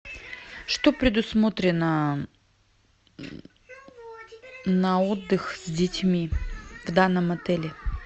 что предусмотрено на отдых с детьми в данном отеле